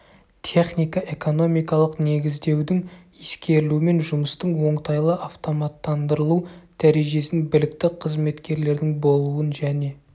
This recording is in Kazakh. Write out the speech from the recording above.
техника-экономикалық негіздеудің ескерілуімен жұмыстың оңтайлы автоматтандырылу дәрежесін білікті қызметкерлердің болуын және